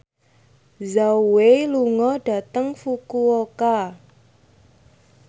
Zhao Wei lunga dhateng Fukuoka